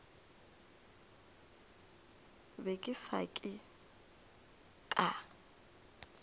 be ke se ka ka